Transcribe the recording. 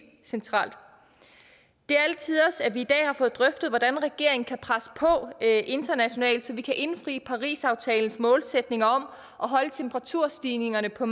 centralt det er alle tiders at vi i dag har fået drøftet hvordan regeringen kan presse på internationalt for at vi kan indfri parisaftalens målsætning om at holde temperaturstigningerne på